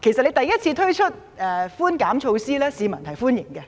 當第一次推出稅務寬免措施時，市民表示歡迎。